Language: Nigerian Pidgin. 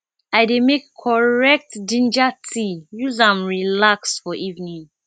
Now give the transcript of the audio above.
i dey make correct ginger tea use am relax for evening